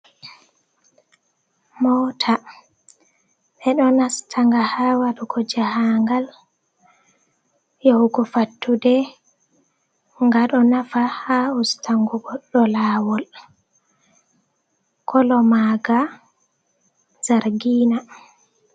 moota ɓe ɗon nastanga haa waɗugo jahaangal, yahugo fattude, boo ɗon nafa haa ustango goɗɗo laawol, kolo maaga zargiina.